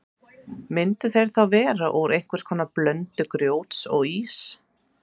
Myndu þeir þá vera úr einhvers konar blöndu grjóts og íss.